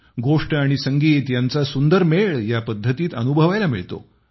गोष्ट आणि संगीत यांचा सुंदर मेळ या पद्धतीत अनुभवायला मिळतो